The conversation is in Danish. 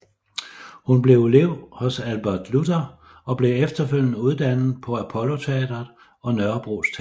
Hun blev elev hos Albert Luther og blev efterfølgende uddannet på Apolloteatret og Nørrebros Teater